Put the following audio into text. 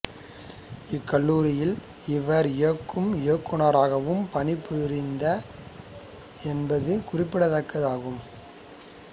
இக்கல்லூரியில் இவர் இயங்கும் இயக்குநராகவும் பணிபுரிந்தார் என்பது குறிப்பிடத்தக்கது ஆகும்